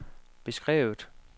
beskrevet